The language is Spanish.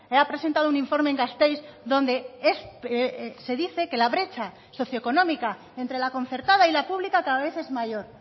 ha presentado un informe en gasteiz donde se dice que la brecha socio económica entre la concertada y la pública cada vez es mayor